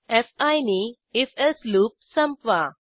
fee नी if else loop loop संपवा